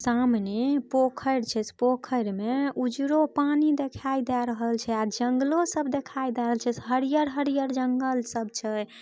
सामने पोखर छै पोखर में उजरो पानी दिखाई द रहल छै आ जंगलों सब देखाई दे रहल छैहरिहर-हरिहर जंगल सब छै।